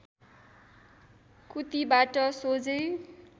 कुतीबाट सोझै